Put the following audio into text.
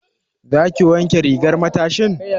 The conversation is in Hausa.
Za ki wanke rigar matashin?